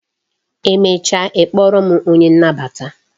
Emecha ị kpọrọ m onye nnabata